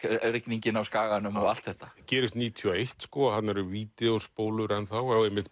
rigningin á Skaganum og allt þetta gerist níutíu og eitt og þarna eru vídeóspólur og einmitt